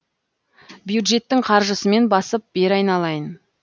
бюджеттің қаржысымен басып бер айналайын